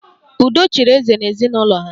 Udo chịrị eze n'ezinụlọ ha